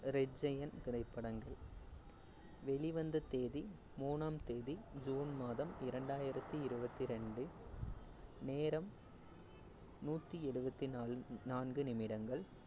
red giant திரைப்படங்கள் வெளிவந்த தேதி மூணாம் தேதி ஜுன் மாதம் இரண்டாயிரத்தி இருவத்தி இரண்டு. நேரம் நூத்தி எழுவத்து நாலு~ நான்கு நிமிடங்கள்